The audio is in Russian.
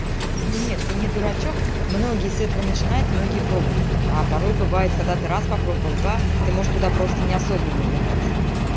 ну нет ты не дурачок многие с этого начинает многие пробуют а порой бывает когда ты раз попробовал два ты можешь туда просто неосознанно влетать